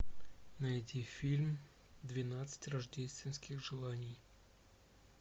найти фильм двенадцать рождественских желаний